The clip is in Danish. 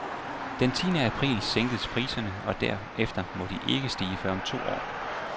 Den tiende april sænkes priserne, og derefter må de ikke stige før om to år.